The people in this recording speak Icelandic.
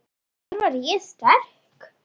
Þar var ég sterk.